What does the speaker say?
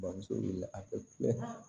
Bamuso wulila a bɛ